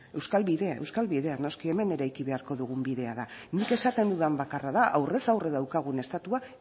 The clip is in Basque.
euskal bidea euskal bidea noski hemen eraiki beharko dugun bidea da nik esaten dudan bakarra da aurrez aurre daukagun estatua